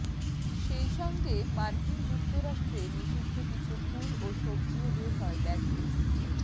সেই সঙ্গে মার্কিন যুক্তরাষ্ট্রে নিষিদ্ধ কিছু ফল ও সব্জিও বের হয় ব্যাগ থেকে